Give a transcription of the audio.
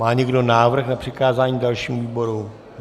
Má někdo návrh na přikázání dalším výborům?